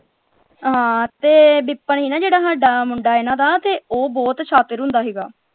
ਹਾਂ ਤੇ ਵਿਪਨ ਸੀ ਨਾ ਜਿਹੜਾ ਸਾਡਾ ਮੁੰਡਾ ਇਨ੍ਹਾਂ ਦਾ ਤੇ ਉਹ ਬਹੁਤ ਸ਼ਾਤਿਰ ਹੁੰਦਾ ਸੀਗਾ।